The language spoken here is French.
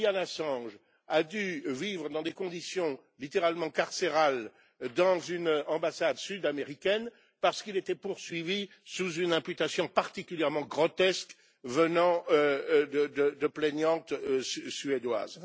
Julian Assange a dû vivre dans des conditions littéralement carcérales dans une ambassade sud américaine parce qu'il était poursuivi sous une imputation particulièrement grotesque venant de plaignantes suédoises.